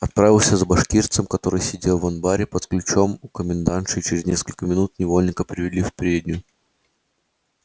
отправился за башкирцем который сидел в анбаре под ключом у комендантши и через несколько минут невольника привели в переднюю